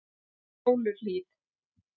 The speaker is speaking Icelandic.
Fjóluhlíð